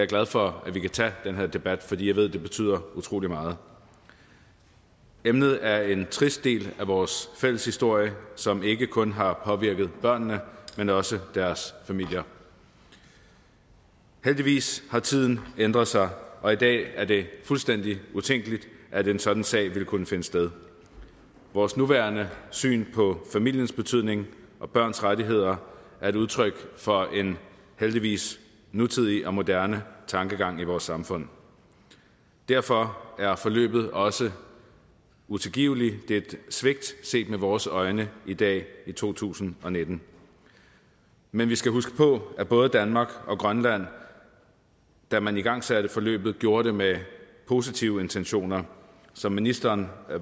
glad for at vi kan tage den her debat fordi jeg ved at det betyder utrolig meget emnet er en trist del af vores fælles historie som ikke kun har påvirket børnene men også deres familier heldigvis har tiden ændret sig og i dag er det fuldstændig utænkeligt at en sådan sag ville kunne finde sted vores nuværende syn på familiens betydning og børns rettigheder er et udtryk for en heldigvis nutidig og moderne tankegang i vores samfund derfor er forløbet også utilgiveligt det er et svigt set med vores øjne i dag i to tusind og nitten men vi skal huske på at både danmark og grønland da man igangsatte forløbet gjorde det med positive intentioner som ministeren